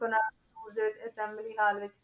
ਵਿੱਚ assembly hall ਵਿੱਚ